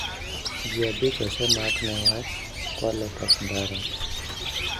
Ji abich osemak newach kwalo tach ndara.